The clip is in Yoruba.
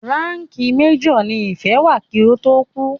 Ránkìì major ní Ìfẹ́ wà kí ó tó kú.